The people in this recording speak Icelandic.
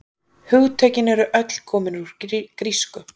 Hugtökin eru öll komin úr grísku.